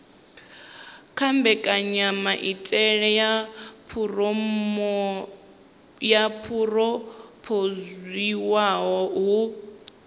na mbekanyamaitele yo phurophoziwaho hu